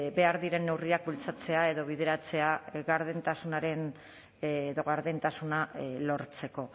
behar diren neurriak bultzatzea edo bideratzea gardentasunaren edo gardentasuna lortzeko